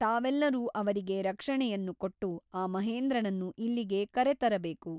ತಾವೆಲ್ಲರೂ ಅವರಿಗೆ ರಕ್ಷಣೆಯನ್ನು ಕೊಟ್ಟು ಆ ಮಹೇಂದ್ರನನ್ನು ಇಲ್ಲಿಗೆ ಕರೆತರಬೇಕು.